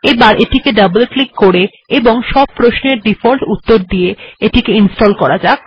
এবার double click করে এবং তারপর কোনো উত্তর পরিবর্তন না করে এটিকে ইনস্টল্ করা যাক